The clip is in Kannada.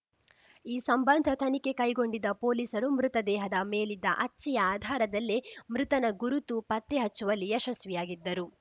ಈ ಸಂಬಂಧ ತನಿಖೆ ಕೈಗೊಂಡಿದ್ದ ಪೊಲೀಸರು ಮೃತದೇಹದ ಮೇಲಿದ್ದ ಅಚ್ಚೆಯ ಆಧಾರದಲ್ಲೇ ಮೃತನ ಗುರುತು ಪತ್ತೆ ಹಚ್ಚುವಲ್ಲಿ ಯಶಸ್ವಿಯಾಗಿದ್ದರು